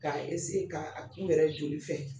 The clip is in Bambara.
K'a k'a kun gɛrɛ joli fɛ.